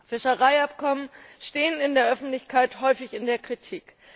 Fischereiabkommen stehen in der Öffentlichkeit häufig in der Kritik.